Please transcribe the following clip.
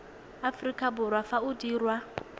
aforika borwa fa o dirwa